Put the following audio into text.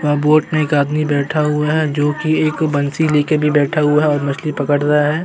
यहाँ बोट में एक आदमी बैठा हुआ है जोकि एक बंसी लेके भी बैठा हुआ है और मछली पकड़ रहा है।